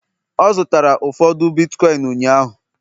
ọ zụtara ụfọdụ bitkọịn ụnyaahụ